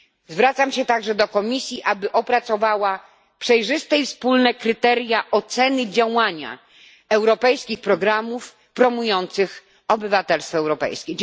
Zwracam się także do Komisji, aby opracowała przejrzyste i wspólne kryteria oceny działania europejskich programów promujących obywatelstwo europejskie.